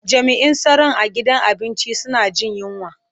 Jami'in tsaron a gidan abinci suna jin yunwa.